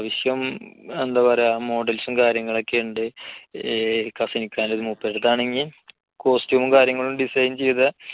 അത്യാവശ്യം models ഉം കാര്യങ്ങളൊക്കെയുണ്ട് കസ്നിക്കാന്റെ മൂപ്പരുടെ അടുത്താണെങ്കിൽ costume കാര്യങ്ങളും design ചെയ്ത